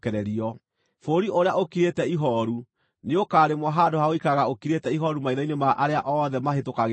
Bũrũri ũrĩa ũkirĩte ihooru nĩũkarĩmwo handũ ha gũikaraga ũkirĩte ihooru maitho-inĩ ma arĩa othe mahĩtũkagĩra kuo.